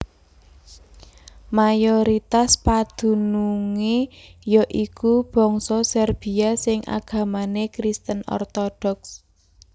Mayoritas padunungé ya iku bangsa Serbia sing agamané Kristen Orthodox